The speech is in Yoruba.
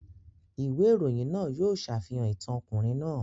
Ìwé ìròyìn náà yóò ṣàfihàn ìtàn ọkùnrin náà.